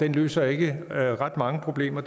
løser ikke ret mange problemer